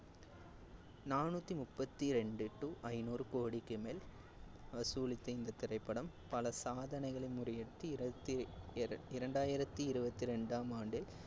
நானூத்தி முப்பத்தி ரெண்டு to ஐந்நூறு கோடிக்கு மேல் வசூலித்த இந்த திரைப்படம் பல சாதனைகளை முறியடித்து, இருவத்தி~ இர~ இரண்டாயிரத்தி இருவத்தி ரெண்டாம் ஆண்டில்